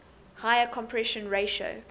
higher compression ratio